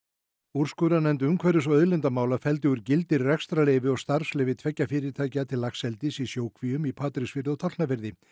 úrskurðarnefnd umhverfis og auðlindamála felldi úr gildi rekstrarleyfi og starfsleyfi tveggja fyrirtækja til laxeldis í sjókvíum í Patreksfirði og Tálknafirði